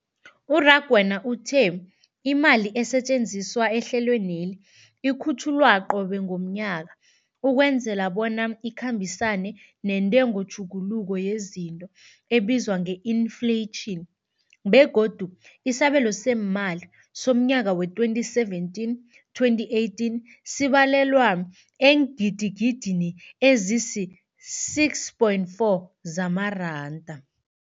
U-Rakwena uthe imali esetjenziswa ehlelweneli ikhutjhulwa qobe ngomnyaka ukwenzela bona ikhambisane nentengotjhuguluko yezinto ebizwa nge-infleyitjhini, begodu isabelo seemali somnyaka we-2017, 2018 sibalelwa eengidigidini ezisi-6.4 zamaranda.